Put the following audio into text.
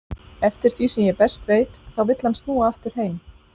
Eftir því sem ég best veit þá vill hann snúa aftur heim.